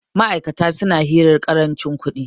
ma'aikatan suna hirar karancin kudi